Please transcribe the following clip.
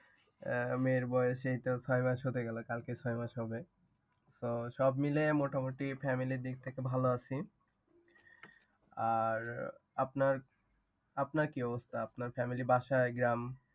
মেয়ের বয়স এইতো ছয় মাস হতে গেলো, কালকে ছয় মাস হবে। তো সব মিলিয়ে মোটামুটি family র দিক থেকে ভালো আছি। আর আপনার, আপনার কী অবস্থা? আপনার family বাসা, গ্রাম